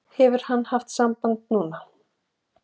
Hefur hann haft samband núna?